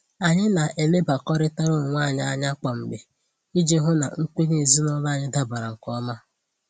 Anyị na-elebakọrịtara onwe anyị anya kwa mgbe iji hụ na nkwenye ezinụlọ anyị dabara nke ọma